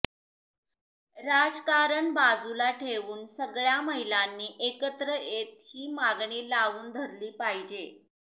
राजकारण बाजूला ठेऊन सगळ्या महिलांनी एकत्र येत ही मागणी लावून धरली पाहिजे